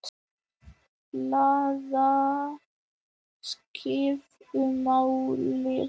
Blaðaskrif um málið.